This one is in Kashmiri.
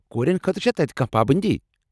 کورٮ۪ن خٲطرٕ چھا تتہ کانٛہہ پابنٛدی؟